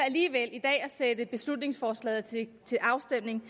at sætte beslutningsforslaget til afstemning